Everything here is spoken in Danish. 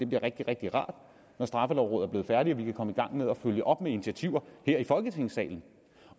bliver rigtig rigtig rart når straffelovrådet er blevet færdige og vi kan komme i gang med at følge op med initiativer her i folketingssalen